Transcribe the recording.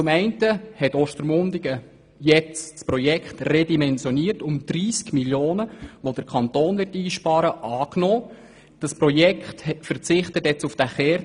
Zum einen hat Ostermundigen das redimensionierte Projekt angenommen, mit dem der Kanton 30 Mio. Franken einsparen wird.